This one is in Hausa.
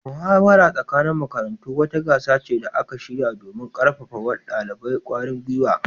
Muhawarar tsakanin makarantu wata gasa ce da aka shirya domin karfafa wa dalibai kwarin gwiwa